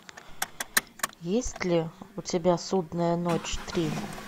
есть ли у тебя судная ночь три